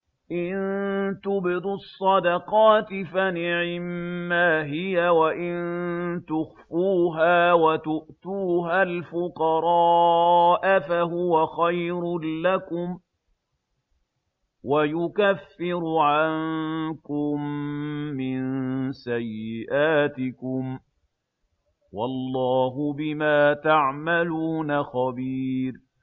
إِن تُبْدُوا الصَّدَقَاتِ فَنِعِمَّا هِيَ ۖ وَإِن تُخْفُوهَا وَتُؤْتُوهَا الْفُقَرَاءَ فَهُوَ خَيْرٌ لَّكُمْ ۚ وَيُكَفِّرُ عَنكُم مِّن سَيِّئَاتِكُمْ ۗ وَاللَّهُ بِمَا تَعْمَلُونَ خَبِيرٌ